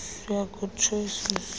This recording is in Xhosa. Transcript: yha good choices